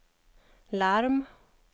larm